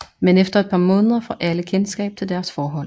Men efter et par måneder får alle kendskab til deres forhold